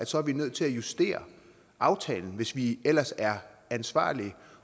så er nødt til at justere aftalen hvis vi ellers er ansvarlige